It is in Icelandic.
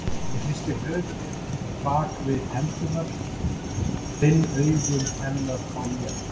Ég hristi höfuðið bak við hendurnar, fann augu hennar á mér.